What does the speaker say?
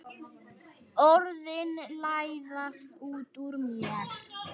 Orðin læðast út úr mér.